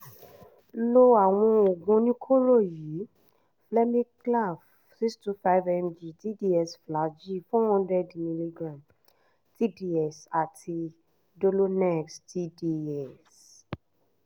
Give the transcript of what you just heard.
lo àwọn oògùn oníkóró yìí: flemiclav six hundred twenty five mg tds flagyl four hundred mg tds àti dolonex tds